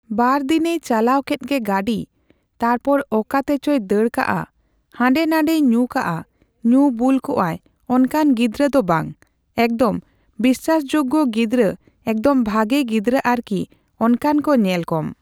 ᱵᱟᱨᱫᱤᱱᱮᱭ ᱪᱟᱞᱟᱣ ᱠᱮᱫ ᱜᱮ ᱜᱟᱹᱰᱤ᱾ ᱛᱟᱨᱯᱚᱨ ᱚᱠᱟᱛᱮᱪᱚᱭ ᱫᱟᱹᱲ ᱠᱟᱜᱼᱟ᱾ ᱦᱟᱸᱰᱮᱼᱱᱟᱰᱮᱭ ᱧᱩ ᱠᱟᱜᱼᱟ, ᱧᱩ ᱵᱩᱞ ᱠᱚᱜᱼᱟᱭ ᱚᱱᱠᱟᱱ ᱜᱤᱫᱽᱨᱟᱹ ᱫᱚ ᱵᱟᱝ᱾ ᱮᱠᱫᱚᱢ ᱵᱤᱥᱥᱟᱥᱡᱳᱜᱽᱜᱚ ᱜᱤᱫᱽᱨᱟᱹ ᱮᱠᱫᱚᱢ ᱵᱷᱟᱹᱜᱤ ᱜᱤᱫᱽᱨᱟᱹ ᱟᱨᱠᱤ ᱚᱱᱠᱟᱱ ᱠᱚ ᱧᱮᱞ ᱠᱚᱢ᱾